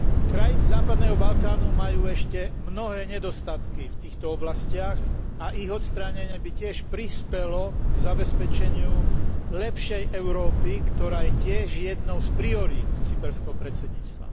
Krajiny západného Balkánu majú ešte mnohé nedostatky v týchto oblastiach a ich odstránenie by tiež prispelo k zabezpečeniu lepšej Európy, ktorá je tiež jednou z priorít cyperského predsedníctva.